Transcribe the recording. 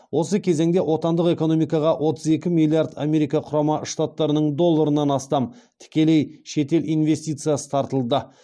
осы кезеңде отандық экономикаға отыз екі миллиард америка құрама штаттарының долларынан астам тікелей шетел инвестициясы тартылды